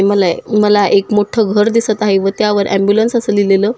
मला ए मला एक मोठ घर दिसत आहे व त्यावर एम्ब्युलेन्स अस लिहलेल--